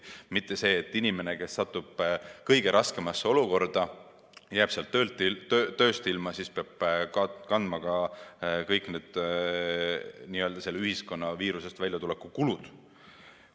nii, et inimene, kes satub kõige raskemasse olukorda, näiteks jääb tööst ilma, peab kandma ka kõik need ühiskonna viirusekriisist väljatuleku kulud.